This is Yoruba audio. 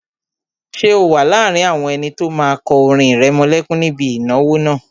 Ṣé o wà láàrin àwọn ẹni tó máa kọ orin ìrẹmọlẹ́kún níbi ìnáwó náà?